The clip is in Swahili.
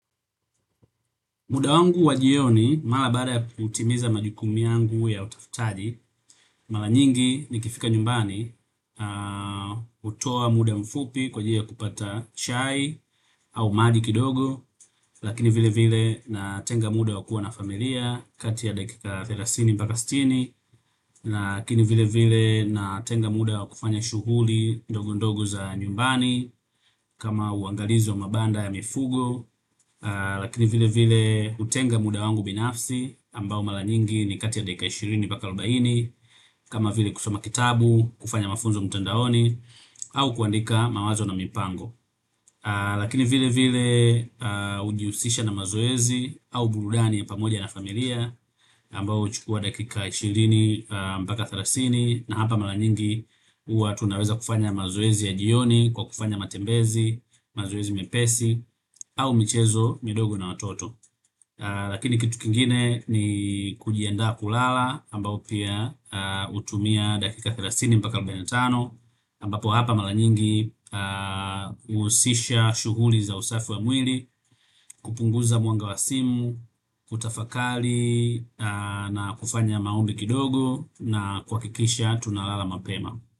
Muda wangu wa jioni, mara baada ya kutimiza majukumu yangu ya utafitaji, mara nyingi nikifika nyumbani, hutoa muda mfupi kwa ajili ya kupata chai au maji kidogo lakini vile vile natenga muda wa kuwa na familia kati ya dakika thelathini mpaka sitini lakini vile vile natenga muda wa kufanya shughuli ndogo ndogo za nyumbani kama uangalizi wa mabanda ya mifugo, lakini vile vile utenga muda wangu binafsi ambao mara nyingi ni kati ya dakika ishirini mpaka arobaini kama vile kusoma kitabu, kufanya mafunzo mtandaoni au kuandika mawazo na mipango lakini vile vile ujiusisha na mazoezi au burudani ya pamoja na familia ambao huchukua dakika ishirini mpaka thelathini na hapa mara nyingi huwa tunaweza kufanya mazoezi ya jioni kwa kufanya matembezi, mazoezi mepesi au michezo midogo na watoto lakini kitu kingine ni kujiandaa kulala ambao pia hutumia dakika thelathini mpaka arobaini na tano ambapo hapa mara nyingi husisha shughuli za usafi ya mwili kupunguza mwanga wa simu kutafakari na kufanya maombi kidogo na kuhakikisha tunalala mapema.